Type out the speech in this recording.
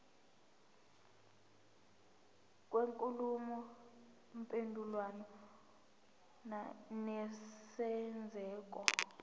kwenkulumo mpendulwano nesenzeko